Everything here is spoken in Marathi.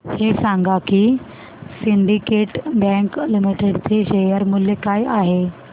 हे सांगा की सिंडीकेट बँक लिमिटेड चे शेअर मूल्य काय आहे